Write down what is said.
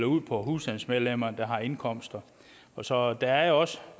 ud på husstandsmedlemmer der har indkomster så der er også